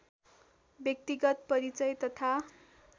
व्यक्तिगत परिचय तथा